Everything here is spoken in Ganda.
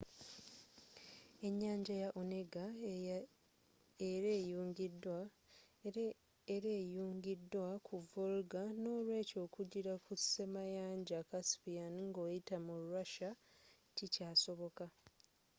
enyanja ya onega era eyungidwa ku volga n'olwekyo okugira kussemayanja caspian ng'oyita mu russia kikyasoboka